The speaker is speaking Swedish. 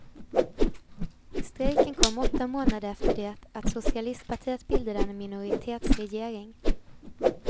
Strejken kommer åtta månader efter det att socialistpartiet bildade en minoritetsregering.